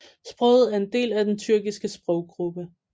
Sproget er en del af den tyrkiske sproggruppe